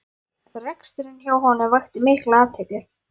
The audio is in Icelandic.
Reksturinn hjá honum vakti mikla athygli